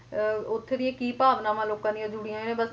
ਅਹ ਉੱਥੋਂ ਦੀਆਂ ਕੀ ਭਾਵਨਾਵਾਂ ਲੋਕਾਂ ਦੀ ਜੁੜੀਆਂ ਆ ਬਸ